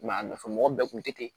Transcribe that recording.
a nafa mɔgɔ bɛɛ kun te ten